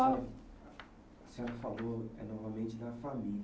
Ah A senhora falou novamente da família.